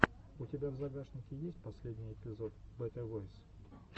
у тебя в загашнике есть последний эпизод бэтэ войс